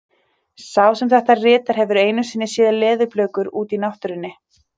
Sá sem þetta ritar hefur einu sinni séð leðurblökur úti í náttúrunni.